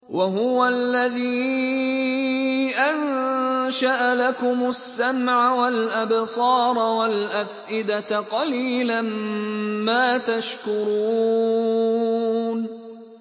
وَهُوَ الَّذِي أَنشَأَ لَكُمُ السَّمْعَ وَالْأَبْصَارَ وَالْأَفْئِدَةَ ۚ قَلِيلًا مَّا تَشْكُرُونَ